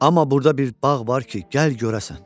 Amma burda bir bağ var ki, gəl görəsən.